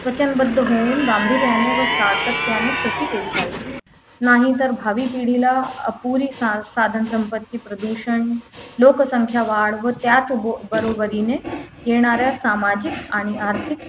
वचनबद्ध होऊन गांभीर्याने व सातत्याने कृती केली पाहिजे नाहीतर भावी पिढीला अपुरी सा साधन संपत्ती प्रदूषण लोकसंख्या वाढ व त्याच बो बरोबरीने येणारे सामाजिक आणि आर्थिक